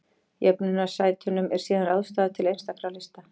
Jöfnunarsætunum er síðan ráðstafað til einstakra lista.